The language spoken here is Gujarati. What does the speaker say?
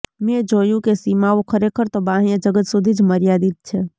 મેં જોયું કે સીમાઓ ખરેખર તો બાહ્ય જગત સુધી જ મર્યાદિત છે